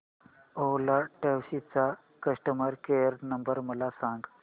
ओला taxi चा customer care number मला सांग